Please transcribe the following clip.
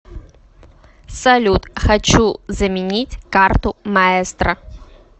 салют хочу заменить карту маестро